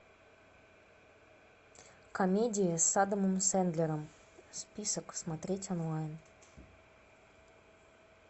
комедии с адамом сэндлером список смотреть онлайн